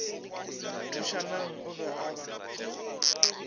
thušanang o be a ba